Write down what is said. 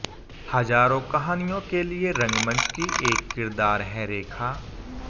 हजारों कहानियों के लिए रंगमंच की एक किरदार हैं रेखा